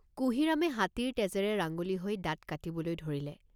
কুঁহিৰামে হাতীৰ তেজেৰে ৰাঙলী হৈ দাঁত কাটিবলৈ ধৰিলে।